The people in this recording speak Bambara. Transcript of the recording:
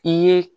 I ye